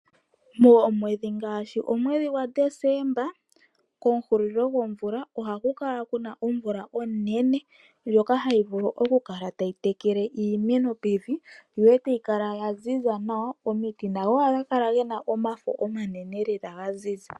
Moomwedhi ngaashi momwedhi gwa December, ke hulilo lyomumvo, ohaku kala kuna omvula onene, ndjoka hayi vulu oku kala tayi tekele iimeno pevi, etayi kala ya ziza nawa. Omiti nadho ohadhi kala dhina omafo omanene lela ga ziza.